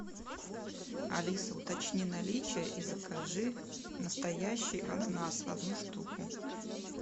алиса уточни наличие и закажи настоящий ананас одну штуку